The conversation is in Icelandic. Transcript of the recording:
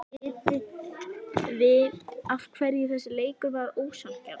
Vitiði af hverju þessi leikur var ósanngjarn?